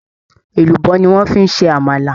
Èlùbọ́ ni wọ́ fi ń ṣẹ Àmàlà